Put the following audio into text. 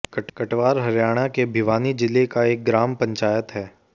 कटवार हरियाणा के भिवानी जिले का एक ग्राम पंचायत है